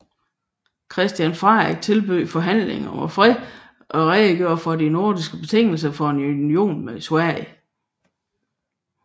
Christian Frederik tilbød forhandlinger om fred og redegjorde for de norske betingelser for en union med Sverige